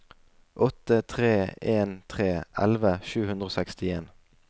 åtte tre en tre elleve sju hundre og sekstien